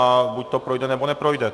A buď to projde, nebo neprojde.